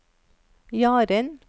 Jaren